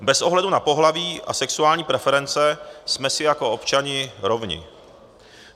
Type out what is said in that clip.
Bez ohledu na pohlaví a sexuální preference jsme si jako občané rovni.